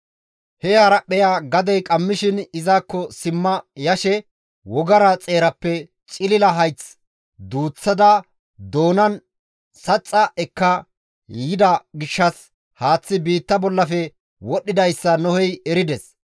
He haraphpheya gadey qammishin izakko simma yashe wogara xeerappe cilila hayth duuththada doonan saxxa ekka yida gishshas haaththi biitta bollafe wodhdhidayssa Nohey erides.